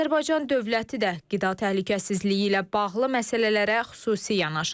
Azərbaycan dövləti də qida təhlükəsizliyi ilə bağlı məsələlərə xüsusi yanaşır.